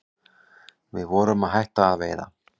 Við vorum að hætta að veiða